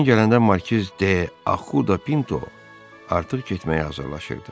Ejen gələndə Markiz D'Ahu da Pinto artıq getməyə hazırlaşırdı.